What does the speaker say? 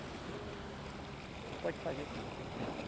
Você pode fazer o que você quiser fazer.